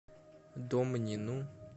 домнину